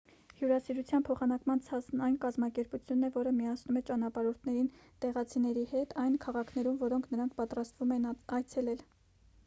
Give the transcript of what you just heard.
հյուրասիրության փոխանակման ցանցն այն կազմակերպությունն է որը միացնում է ճանապարհորդներին տեղացիների հետ այն քաղաքներում որոնք նրանք պատրաստվում են այցելել